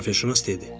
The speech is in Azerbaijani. Coğrafiyaşünas dedi.